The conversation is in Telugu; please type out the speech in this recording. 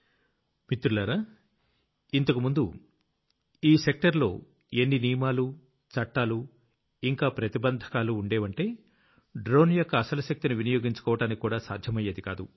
మిత్రులారా ముందు ఈ సెక్టర్ లో ఎన్ని నియమాలు చట్టాలు ఇంకా ప్రతిబంధకాలు ఉండేవంటే డ్రోన్ యొక్క అసలు శక్తిని వినియోగించుకోవడానికి కూడా సాధ్యమయ్యేది కాదు